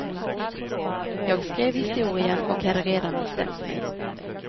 Jag skrev historien och hade redan bestämt mig.